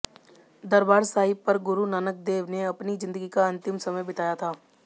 दरबार साहिब पर गुरु नानक देव ने अपनी जिंदगी का अंतिम समय बिताया था